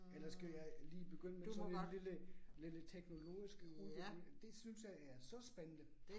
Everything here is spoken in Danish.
Eller skal jeg lige begynde med sådan en lille lille teknologisk udvikling. Det synes jeg er så spændende